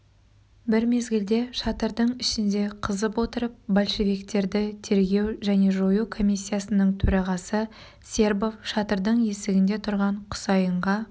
бір мезгілде шатырдың ішінде қызып отырып большевиктерді тергеу және жою комиссиясының төрағасы сербов шатырдың есігінде тұрған құсайынға